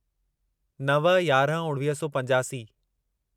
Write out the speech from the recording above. नव यारहं उणिवीह सौ पंजासी